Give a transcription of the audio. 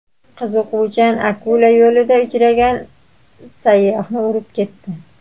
Qiziquvchan akula yo‘lida uchragan sayyohni urib ketdi.